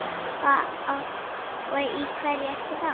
Og í hverju ertu þá?